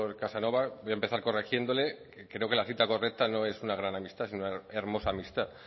casanova voy a empezar corrigiéndole creo que la cita correcta no es una gran amistad sino una hermosa amistad